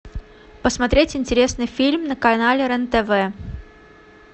посмотреть интересный фильм на канале рен тв